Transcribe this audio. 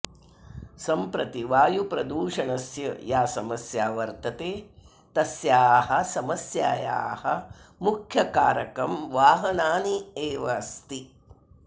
सम्प्रति वायुप्रदूषणस्य या समस्या वर्तते तस्याः समास्यायाः मुख्यं कारकं वाहनान्येवास्ति